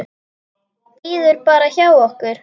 Bíður bara hjá okkur!